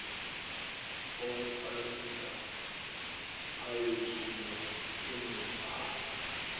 okuphasisa ayothulwa kunobhala